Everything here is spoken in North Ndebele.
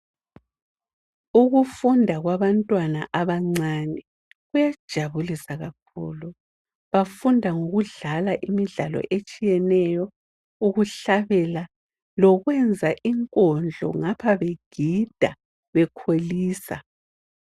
Ukufunda kwabantwana abancane kuyajabulisa kakhulu. Bafunda ngokudlala imidlalo etshiyeneyo, ukuhlabela lokwenza inkondlo ngapha begida bekholisa.